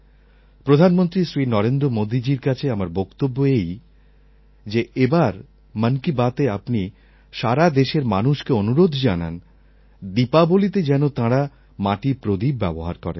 প্রধানমন্ত্রী শ্রী নরেন্দ্র মোদীজীর কাছে আমার বক্তব্য এই যে এবার মন কি বাতএ আপনি সারা দেশের মানুষকে অনুরোধ জানান দীপাবলীতে যেন তাঁরা মাটির প্রদীপ ব্যবহার করেন